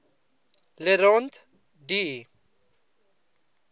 le rond d